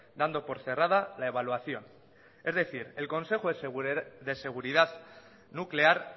dando por cerrada la evaluación es decir el consejo de seguridad nuclear